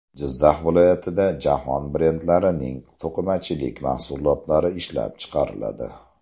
Jizzax viloyatida jahon brendlarining to‘qimachilik mahsulotlari ishlab chiqariladi!.